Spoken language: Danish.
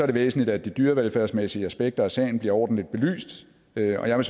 det væsentligt at de dyrevelfærdsmæssige aspekter af sagen bliver ordentligt belyst og jeg vil